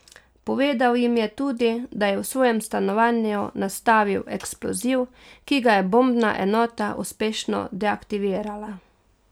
Povedal jim je tudi, da je v svojem stanovanju nastavil eksploziv, ki ga je bombna enota uspešno deaktivirala.